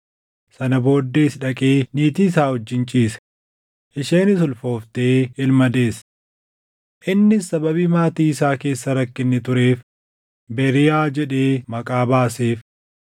Sana booddees dhaqee niitii isaa wajjin ciise; isheenis ulfooftee ilma deesse. Innis sababii maatii isaa keessa rakkinni tureef Beriiyaa jedhee maqaa baaseef.